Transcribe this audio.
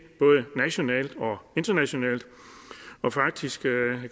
både nationalt og internationalt og faktisk